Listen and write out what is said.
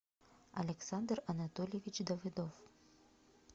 александр анатольевич давыдов